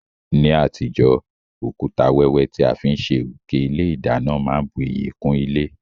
Ní àtijó, òkúta wẹ́wẹ́ ti a fi n sé òké ilé ìdánán má n bu iyì kún ilé